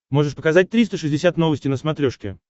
можешь показать триста шестьдесят новости на смотрешке